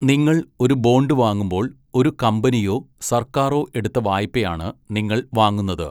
നിങ്ങൾ ഒരു ബോണ്ട് വാങ്ങുമ്പോൾ, ഒരു കമ്പനിയോ സർക്കാരോ എടുത്ത വായ്പയാണ് നിങ്ങൾ വാങ്ങുന്നത്.